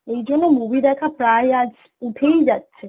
এইজন্য movie দেখা প্রায় আজ উঠেই যাচ্ছে